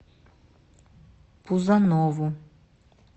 пузанову